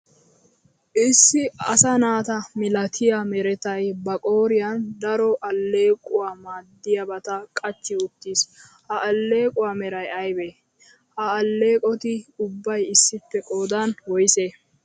Issi asaa naata milatiyaa merettay ba qooriyan daro alequwawu maadiyabata qachchi uttiis, ha alequwaa meray aybe? Ha aleqotti ubbay issippe qoodan woyse?